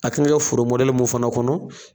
A tun bɛ kɛ foro mɔdɛli mun fana kɔnɔ.